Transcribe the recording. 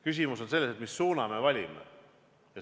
Küsimus on selles, mis suuna me valime.